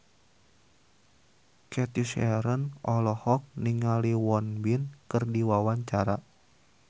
Cathy Sharon olohok ningali Won Bin keur diwawancara